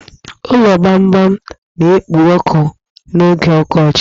Ụlo gbamgbam na-ekpo ọkụ n'oge ọkọchi